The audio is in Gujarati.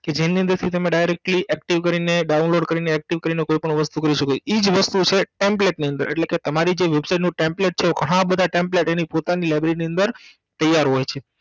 કે જેની અંદરથી તમે Directly active કરીને download કરીને active કરીને કોઈ પણ વસ્તુ કરી સકો ઈજ વસ્તુ છે template ની અંદર એટલેકે તમારીજે website નું template છે હા બધા template એની પોતાની library ની અંદર તૈયાર હોય છે